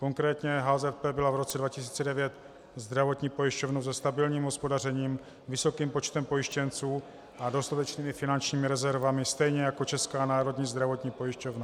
Konkrétně HZP byla v roce 2009 zdravotní pojišťovnou se stabilním hospodařením, vysokým počtem pojištěnců a dostatečnými finančními rezervami, stejně jako Česká národní zdravotní pojišťovna.